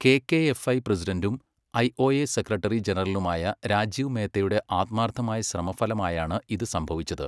KKFI പ്രസിഡന്റും IOA secretary ജനറലുമായ രാജീവ് മേത്തയുടെ ആത്മാർഥമായ ശ്രമഫലമായാണ് ഇത് സംഭവിച്ചത്.